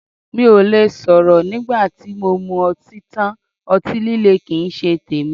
Mí ò le sọ̀rọ̀ nígbà tí mo mu ọtí tán, ọtí líle kín ń ṣe tèmi.